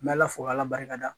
N bɛ ala fo k'ala barika da